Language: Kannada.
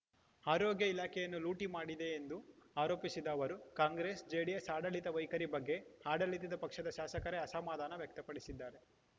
ಆರೋಗ್ಯ ಇಲಾಖೆಯನ್ನು ಲೂಟಿ ಮಾಡಿದೆ ಎಂದು ಆರೋಪಿಸಿದ ಅವರು ಕಾಂಗ್ರೆಸ್‌ ಜೆಡಿಎಸ್‌ ಆಡಳಿತ ವೈಖರಿ ಬಗ್ಗೆ ಆಡಳಿತ ಪಕ್ಷದ ಶಾಸಕರೇ ಅಸಮಾಧಾನ ವ್ಯಕ್ತಪಡಿಸಿದ್ದಾರೆ